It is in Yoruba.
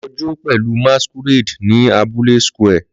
Lọ jó pẹ̀lú masquerade ní abúlé square